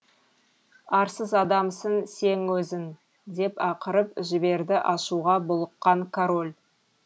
арсыз адамсың сен өзің деп ақырып жіберді ашуға булыққан король